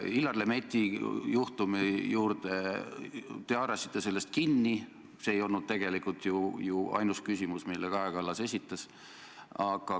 Illar Lemetti juhtumi juurde: te haarasite sellest kinni, see ei olnud aga ainus küsimus, mille Kaja Kallas esitas.